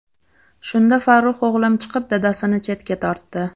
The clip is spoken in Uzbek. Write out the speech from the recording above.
Shunda Farruh o‘g‘lim chiqib, dadasini chetga tortdi.